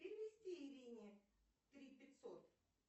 перевести ирине три пятьсот